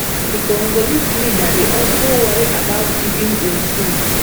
di congolese leader dey also worry about keeping im seat